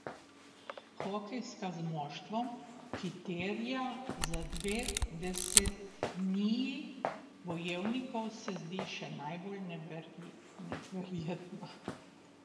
Hokejska, z moštvom, ki terja za dve desetniji bojevnikov, se zdi še najbolj neverjetna.